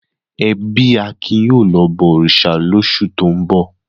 Ẹbí Akin yóò lọ bọ òrìṣà Ọ̀ṣun lóṣù tó ń bọ̀!